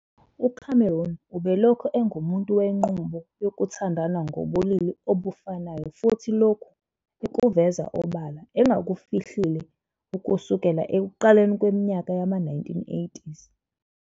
UCameron ubelokhu engumuntu wenqubo yokuthandana ngokobulili obufanayo futhi lokhu ekuveza obala engakufihlile ukusukela ekuqaleni kweminyaka yama-1980.